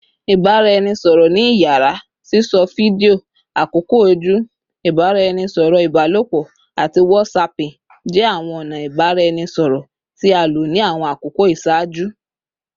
Ibaraẹnisọrọ ni iyara, sisọ fidio, akoko oju, ibaraẹnisọrọ ibalopọ, ati whatsapping jẹ awọn ọna ibaraẹnisọrọ ti a lo ni awọn akoko iṣaaju